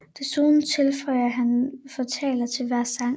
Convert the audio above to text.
Desuden tilføjede han fortaler til hver sang